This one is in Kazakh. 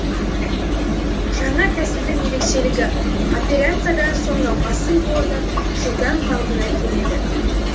жаңа тәсілдің ерекшелігі операциядан соң науқастың буыны жылдам қалпына келеді